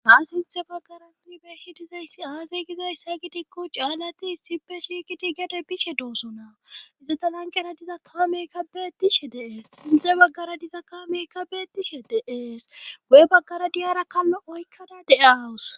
haa sinthe baggara yuunibeeshidizayssi aatey gizayssa gidikko caallati issippe shiiqiti gede bishe dooso nawu izata lanqera diza kaameykka beettishe deees sinthe baggara diza kaameykka beettishe deees go7e baggara diyara kallo oykkada de7aawus